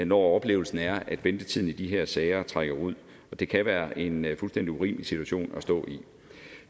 når oplevelsen er at ventetiden i de her sager trækker ud og det kan være en fuldstændig urimelig situation at stå i